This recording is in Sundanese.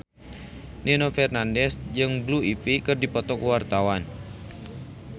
Nino Fernandez jeung Blue Ivy keur dipoto ku wartawan